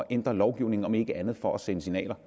ændre lovgivningen om ikke andet for at sende signaler